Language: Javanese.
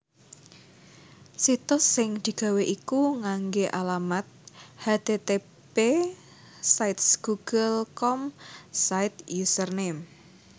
Situs sing digawé iku nganggé alamat http //sites google com/site/username/